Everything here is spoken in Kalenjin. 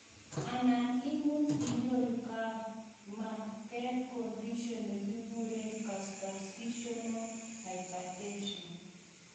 anan imuch inyoru koimanagat condition nakikuren gestational hypertension